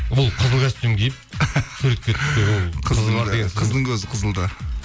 бұл қызыл костюм киіп суретке түссе ол қыздың көзі қызылда